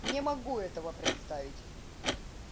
не могу этого представить